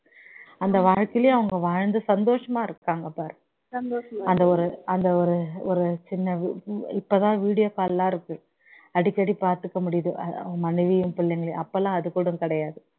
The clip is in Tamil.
அந்த வறட்சிலயே அவங்க வாழ்ந்து சந்தோஷமா இருக்காங்க பாரு அந்த ஒரு அந்த ஒரு ஒரு சின்ன இபோதான் video call லாம் இருக்கு அடிகடி பார்த்துக்க முடியுது அவங்க மனைவியையும் பிள்ளைங்களையும் அப்போலாம் அது கூட கிடையாது